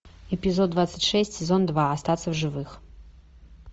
эпизод двадцать шесть сезон два остаться в живых